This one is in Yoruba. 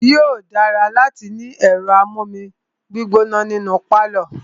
Yóò dára láti ní ẹ̀rọ amú omi gbóná ní inú pálọ̀.